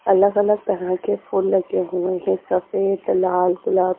अलग-अलग तरह के फूल लगे हुए हैं सफेद लाल गुलाब--